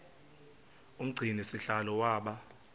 umgcini sihlalo waba